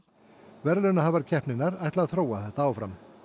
verðlaunahafar keppninnar ætla að þróa þetta áfram